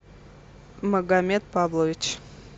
магомед павлович